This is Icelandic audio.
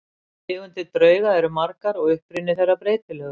Tegundir drauga eru margar og uppruni þeirra breytilegur.